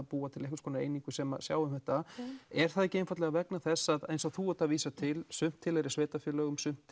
búa til einhvers konar einingu sem sjá um þetta er það ekki einfaldlega vegna þess að eins og þú ert að vísa til sumt tilheyrir sveitarfélögum sumt